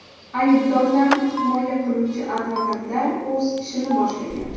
Aybdorlarni himoya qiluvchi advokatlar o‘z ishini boshlagan.